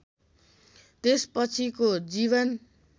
त्यसपछिको जीवन